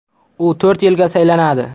U to‘rt yilga saylanadi.